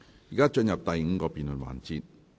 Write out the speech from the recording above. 現在進入第五個辯論環節。